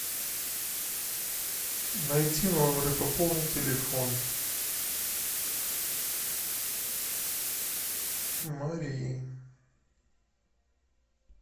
найти номер и пополнить телефон марии